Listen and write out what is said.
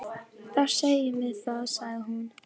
Þá segjum við það, sagði hún.